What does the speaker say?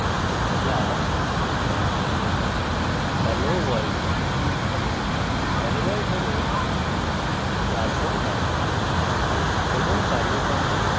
তাই লিখুন class helloworld helloworld হল class name